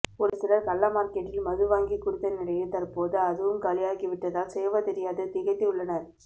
ஒரு சிலர் கள்ள மார்க்கெட்டில் மது வாங்கி குடித்த நிலையில் தற்போது அதுவும் காலியாகி விட்டதால் செய்வதறியாது திகைத்து உள்ளனர்